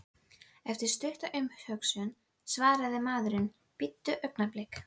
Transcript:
Eftir stutta umhugsun svaraði maðurinn: Bíddu augnablik.